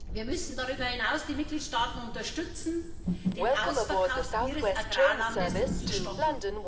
Wir müssen darüber hinaus die Mitgliedstaaten unterstützen, den Ausverkauf ihres Agrarlandes zu stoppen.